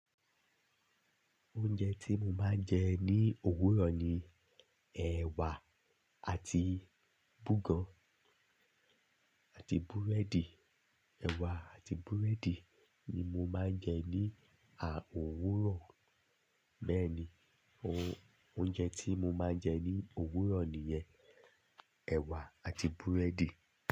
Oúnjẹ tí mo máa ń jẹ ní òwúrọ̀ ni ẹ̀wà àti bugàn àti búrẹ́dì. Ẹ̀wà àti búrẹ́dì ni mo máa ń jẹ ní òwúrọ̀. Bẹ́ẹ̀ ni, oúnjẹ tí mo máa ń jẹ ní òwúrọ̀ nìyẹn, ẹ̀wà àti búrẹ́dì.